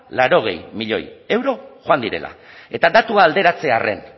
laurogei milioi euro joan direla eta datua alderatze arren